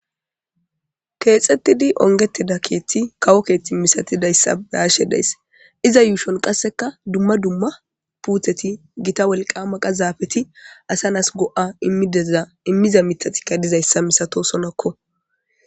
keexettidi ongetida keethti kawo keethti misatidayssa beyashe dayss iza yuushon qasseka dumma dumma puutheti gita wolqa maqa zaafeti asa nas go7a immideza immiza mitatikka dizayssa misato sonakko